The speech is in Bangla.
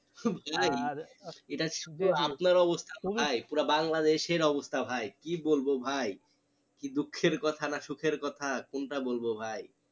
তাই নাকি? আর আপনার অবস্থা ভাই পুরো বাংলাদেশের অবস্থা ভাই কি বলবো ভাই কি দুঃখের কথা না সুখের কথা কোনটা বলবো ভাই